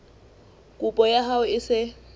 kopo ya hao e se